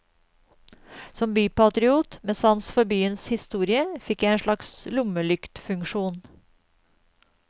Som bypatriot med sans for byens historie fikk jeg en slags lommelyktfunksjon.